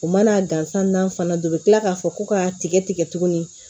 U mana gansan n'an fana don u bɛ tila k'a fɔ ko k'a tigɛ tigɛ tugunni